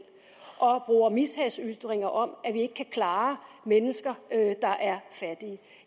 og bruger mishagsytringer om at vi ikke kan klare mennesker der er fattige